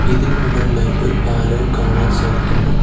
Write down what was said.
ഇതിനുമുകളിലായി ഒരു പാലവും കാണാൻ സാധിക്കുന്നു.